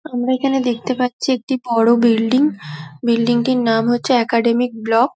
আমরা এইখানে দেখতে পারছি একটি বড়ো বিল্ডিং বিল্ডিং টির নাম হরছে একাডেমিক ব্লক ।